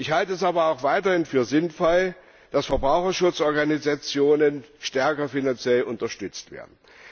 Ich halte es aber auch weiterhin für sinnvoll, dass Verbraucherschutzorganisationen stärker finanziell unterstützt werden.